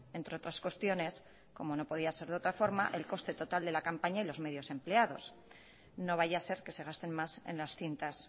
entre otras cuestiones como no podía ser de otra forma el coste total de la campaña y los medios empleados no vaya a ser que se gasten más en las cintas